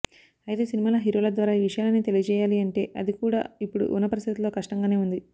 అయితే సినిమా హీరోల ద్వారా ఈ విషయాన్నీ తెలియజేయాలి అంటే అది కూడా ఇప్పుడు ఉన్న పరిస్థితుల్లో కష్టంగానే ఉంది